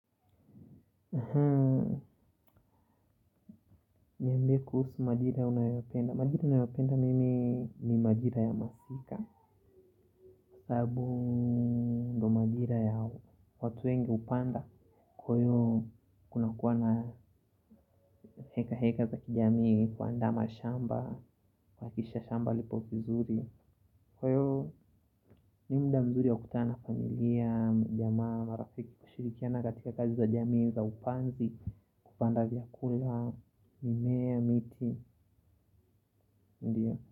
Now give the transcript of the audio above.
Niambie kuhusu madira unayopenda madira ninayopenda mimi ni madira ya masika. Sababu ndo madira ya watu wengi hupanda. Kwayo kuna kuwa na heka heka za kijamii kuandaa mashamba kuhakikisha shamba lipo vizuri. Kwa hivo ni muda mzuri ya kutana na familia majamaa marafiki kushirikiana katika kazi za jamii za upanzi. Kupanda vyakula, mimea, miti, ndio.